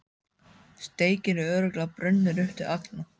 Steikin er örugglega brunnin upp til agna.